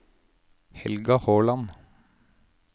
Helga Håland